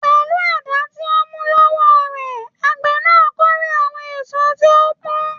Pẹlú àdá tó mú lọ́wọ́ rẹ̀, àgbẹ̀ na kórè àwọn èso tí ó pọ́n.